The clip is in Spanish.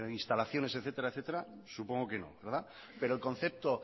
instalaciones etcétera supongo que no pero el concepto